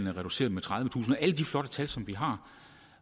er reduceret med tredivetusind alle de flotte tal som vi har